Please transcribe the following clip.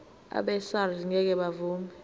abesars ngeke bavuma